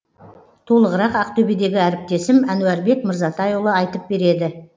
толығырақ ақтөбедегі әріптесім әнуарбек мырзатайұлы айтып береді